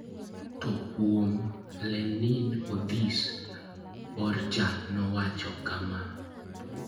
To kuom LeninOdhis, Borja nowacho kama: